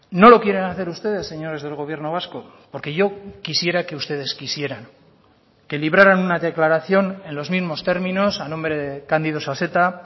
no lo quieren hacer ustedes señores del gobierno vasco porque yo quisiera que ustedes quisieran que libraran una declaración en los mismos términos a nombre de cándido saseta